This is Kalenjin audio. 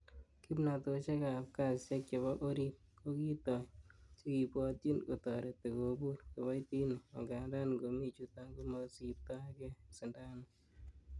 Kimnotosiek ab kasisiek chebo orit kokitoi chekibwotyin kotoreti kobur kiboitinik, angandan ingomi chuton, komosibto gee sindanut.